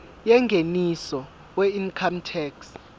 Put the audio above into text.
yengeniso weincome tax